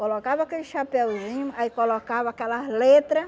Colocava aquele chapeuzinho, aí colocava aquelas letra